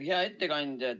Hea ettekandja!